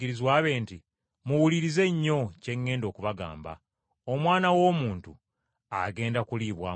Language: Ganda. “Muwulirize nnyo kye ŋŋenda okubagamba. Omwana w’Omuntu, agenda kuliibwamu olukwe.”